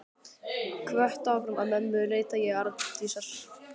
Hvött áfram af mömmu leita ég Arndísar.